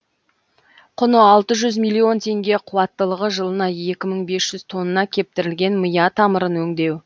құны алты жүз миллион теңге қуаттылығы жылына екі мың бес жүз тонна кептірілген мия тамырын өңдеу